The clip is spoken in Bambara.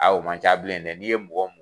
A o man ca bilen dɛ n'i ye mɔgɔ mun